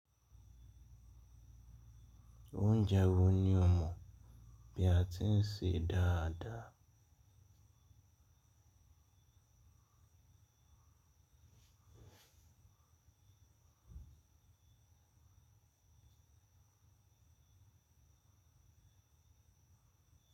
Oúnjẹ wọ̀ ni ò mọ̀ bí a ti ń ṣe dáadáa.